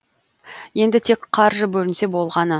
енді тек қаржы бөлінсе болғаны